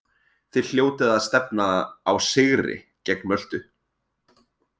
Þið hljótið að stefna á sigri gegn Möltu?